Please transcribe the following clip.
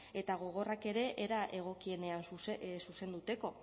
eta gogorrak ere era egokienean zuzenduteko